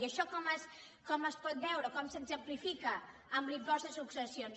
i això com es pot veure com s’exemplifica amb l’impost de successions